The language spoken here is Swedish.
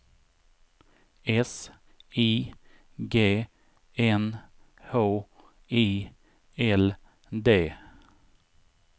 S I G N H I L D